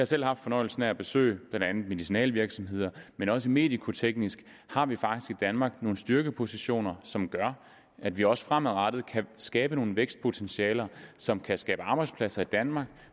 selv haft fornøjelsen af at besøge blandt andet medicinalvirksomheder men også medikoteknisk har vi faktisk i danmark nogle styrkepositioner som gør at vi også fremadrettet kan skabe nogle vækstpotentialer som kan skabe arbejdspladser i danmark